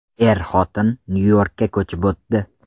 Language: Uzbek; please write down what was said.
Er-xotin Nyu-Yorkka ko‘chib o‘tdi.